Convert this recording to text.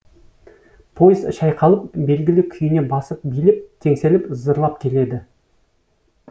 поезд шайқалып белгілі күйіне басып билеп теңселіп зырлап келеді